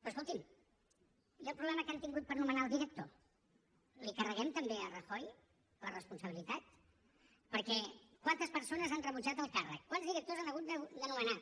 però escolti’m i el problema que han tingut per nomenar el director la hi carreguem també a rajoy la responsabilitat perquè quantes persones han rebutjat el càrrec quants directors han hagut de nomenar